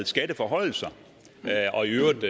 skatteforhøjelser og i øvrigt